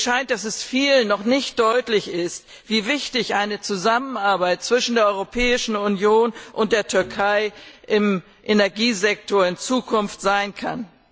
Mir scheint, dass es vielen noch nicht deutlich ist, wie wichtig eine Zusammenarbeit zwischen der Europäischen Union und der Türkei im Energiesektor in Zukunft sein kann.